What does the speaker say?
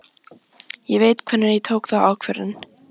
Ég veit hvenær ég tók þá ákvörðun.